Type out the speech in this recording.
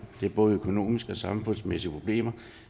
det er både økonomiske og samfundsmæssige problemer